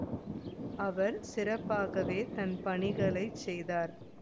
அவர் சிறப்பாகவே தன் பணிகளை செய்தார்